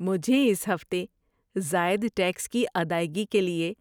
مجھے اس ہفتے زائد ٹیکس کی ادائیگی کے لیے